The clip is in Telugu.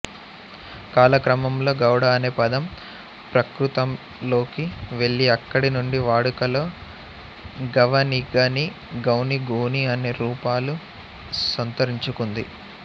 కాలక్రమంలో గౌడ అనే పదం ప్రాకృతంలోకి వెళ్ళి అక్కడి నుండి వాడుకలో గావనిగానిగౌనిగోని అనే రూపాలు సంతరించుకుంది